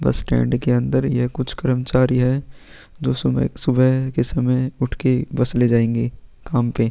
बस स्टैंड के अंदर यह कुछ कर्मचारी हैं जो सुबह-सुबह के सयम उठ के बस ले जाएंगे काम पे--